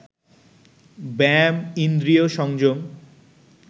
ব্যায়াম, ইন্দ্রিয় সংযম